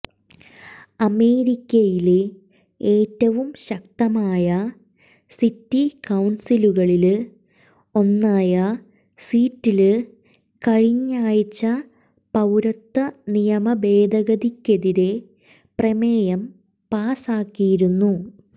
അമേരിക്കയിലെ ഏറ്റവും ശക്തമായ സിറ്റി കൌണ്സിലുകളില് ഒന്നായ സീറ്റ്ല് കഴിഞ്ഞയാഴ്ച പൌരത്വ നിയമ ഭേദഗതിക്കെതിരെ പ്രമേയം പാസാക്കിയിരുന്നു